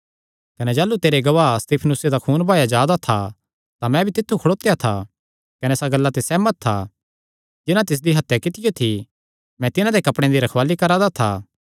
कने जाह़लू तेरे गवाह स्तिफनुसे दा खून बहाया जा दा था तां मैं भी तित्थु खड़ोत्या था कने इसा गल्ला ते सेहमत था जिन्हां तिसदी हत्या कित्तियो थी मैं तिन्हां दे कपड़ेयां दी रखवाल़ी करा दा था